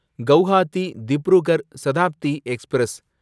Guwahati Dibrugarh Shatabdi express